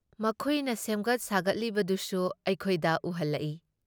ꯃꯈꯣꯏꯅ ꯁꯦꯝꯒꯠ ꯁꯥꯒꯠꯂꯤꯕꯗꯨꯁꯨ ꯑꯩꯈꯣꯏꯗ ꯎꯍꯜꯂꯛꯏ ꯫